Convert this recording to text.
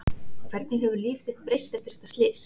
Hvernig hefur líf þitt breyst eftir þetta slys?